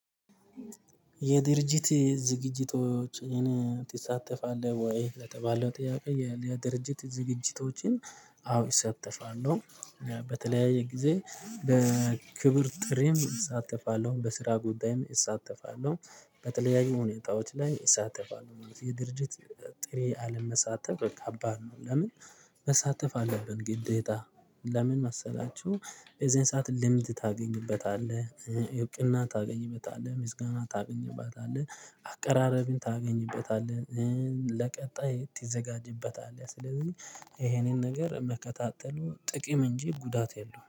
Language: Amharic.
የድርጅት ዝግጅቶችን ትሳተፋለህ ወይ? ለተባለው ጥያቄ የድርጅት ዝግጅቶችን አዎ እሳተፋለሁ። በተለያየ ጊዜ በክብር ጥሪም እሳተፋለሁ በስራ ጉዳይም እሳተፋለሁ በተለያዩ ሁኔታዎች ላይ እሳተፋለሁ። የድርጅት ጥሬ አለመሳተፍ አባድ ነው። ለምን? መሳተፍ አለብን ግዴታ ለምን መሰላችሁ? የዚህን ሰዓት ልምድ ታገኝበታለህ። እውቅና ታገኝበታለህ ምስጋና ታገኝበታለህ አቀራረብህን ታገኝበታለህ። ለቀጣይ ትዘጋጅበታለህ ስለዚህ ይሄንን ነገር መከታተሉ ጥቅም እንጂ ጉዳት የለውም